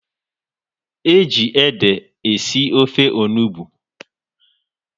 Eji ede esi ofe onugbu